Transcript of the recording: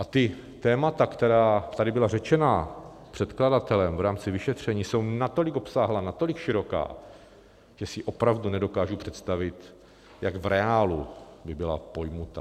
A ta témata, která tady byla řečena předkladatelem v rámci vyšetření, jsou natolik obsáhlá, natolik široká, že si opravdu nedokážu představit, jak v reálu by byla pojata.